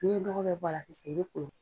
Ni ye nɔgɔ bɛ bɔra sisan i be kolon